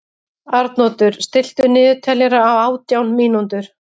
Arnoddur, stilltu niðurteljara á átján mínútur.